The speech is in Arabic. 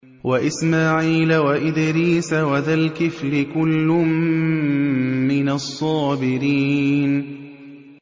وَإِسْمَاعِيلَ وَإِدْرِيسَ وَذَا الْكِفْلِ ۖ كُلٌّ مِّنَ الصَّابِرِينَ